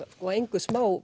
og á engu